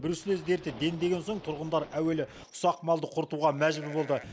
бруцеллез дерті дендеген соң тұрғындар әуелі ұсақ малды құртуға мәжбүр болды